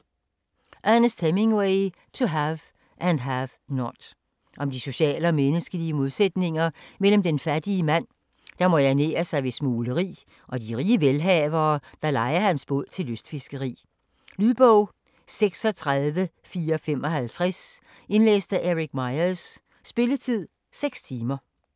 Hemingway, Ernest: To have and have not Om de sociale og menneskelige modsætninger mellem den fattige mand, der må ernære sig ved smugleri, og de rige velhavere, der lejer hans båd til lystfiskeri. Lydbog 36455 Indlæst af Eric Meyers Spilletid: 6 timer, 0 minutter.